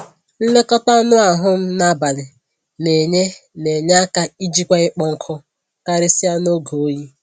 Nlekọta anụ ahụ m na abalị na enye na enye aka ijikwa ịkpọ nkụ, karịsịa n'oge oyi